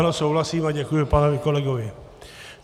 Ano souhlasím a děkuji panu kolegovi.